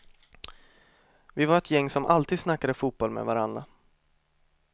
Vi var ett gäng som alltid snackade fotboll med varandra.